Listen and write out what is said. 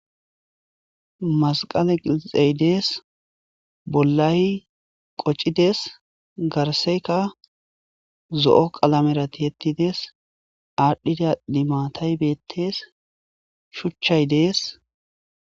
Masqale qilixey dees bollay qoccides garseyka zo'o qalamera tiettides aadhdhida dimatay beettes shuchchay dees